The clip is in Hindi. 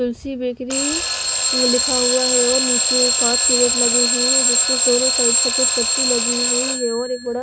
तुलसी बेकरी लिखा हुआ है और निचे एक काच के गेट लगे हुए है जिसमे दोनों साइड सफेद पट्टी लगी हुई है और एक बडा--